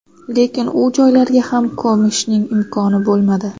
Lekin u joylarga ham ko‘mishning imkoni bo‘lmadi.